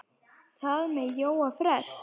Hvað með Jóa fress?